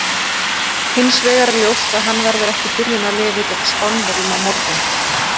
Hins vegar er ljóst að hann verður ekki í byrjunarliði gegn Spánverjum á morgun.